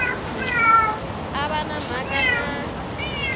a va na mhaka na